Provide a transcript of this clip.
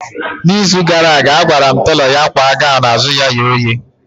Na izu gara aga, agwara m telọ ya kwa gọwn azụ ya ye oye